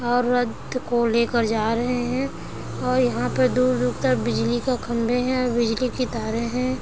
औरत को लेकर जा रहे है और यहाँ पर दूर-दूर तक बिजली का खम्भे है और बिजली की तारे है ।